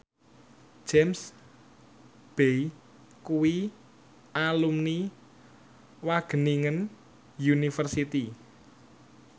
James Bay kuwi alumni Wageningen University